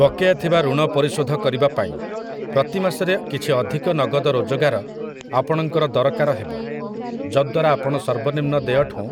ବକେୟା ଥିବା ଋଣ ପରିଶୋଧ କରିବା ପାଇଁ, ପ୍ରତି ମାସରେ କିଛି ଅଧିକ ନଗଦ ରୋଜଗାର ଆପଣଙ୍କର ଦରକାର ହେବ, ଯଦ୍ୱାରା ଆପଣ ସର୍ବନିମ୍ନ ଦେୟଠୁଁ